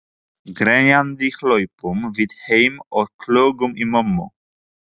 Grenjandi hlaupum við heim og klögum í mömmu.